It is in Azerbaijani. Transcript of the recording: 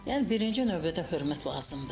Yəni birinci növbədə hörmət lazımdır.